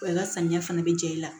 Wa i ka samiya fana bɛ jɛ i la